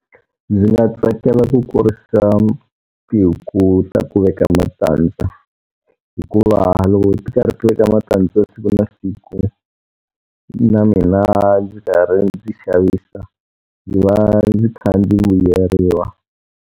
Ndzi nga tsakela ku kurisa tihuku ta ku veka matandza. Hikuva loko ti karhi ti veka matandza siku na siku, na mina ndzi karhi ndzi xavisa, ndzi va ndzi kha ndzi vuyeriwa.